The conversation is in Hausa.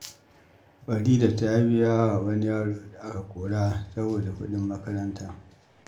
Farida ta biya wa wani yaro da aka kora saboda kuɗin makaranta.